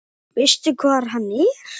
Veistu hvar hann er?